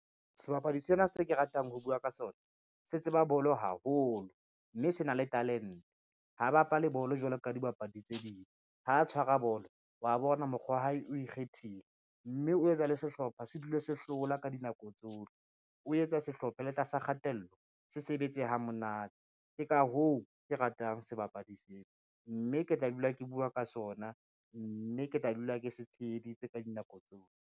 Sebapadi sena se ke ratang ho bua ka sona, se tseba bolo haholo, mme se na le talente. Ha bapale bolo jwalo ka dibapadi tse ding, ha tshwara bolo wa bona mokgwa wa hae o ikgethile, mme o etsa le sehlopha se dule sehlola ka dinako tsohle. O etsa sehlopha le tlasa kgatello se sebetse ha monate, ke ka hoo ke ratang sebapadi sena, mme ke tla dula ke bua ka sona, mme ke tla dula ke se tsheheditse ka dinako tsohle.